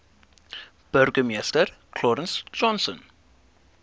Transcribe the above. burgemeester clarence johnson